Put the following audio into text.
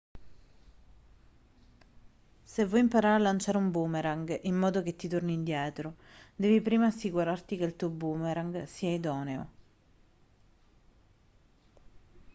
se vuoi imparare a lanciare un boomerang in modo che ti torni indietro devi prima assicurarti che il tuo boomerang sia idoneo